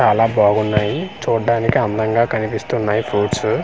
చాలా బాగున్నాయి చూడ్డానికి అందంగా కనిపిస్తున్నాయి ఫ్రూట్సు .